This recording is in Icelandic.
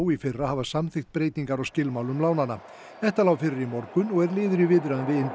í fyrra hafa samþykkt breytingar á skilmálum lánanna þetta lá fyrir í morgun og er liður í viðræðum við